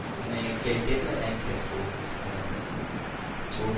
અને કે કેટલા ટાઇમ થયા ઓફિસ માં મતલબ job